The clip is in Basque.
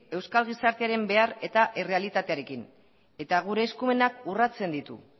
euskal gizartearen behar eta errealitatearekin eta gure eskumenak urratzen ditu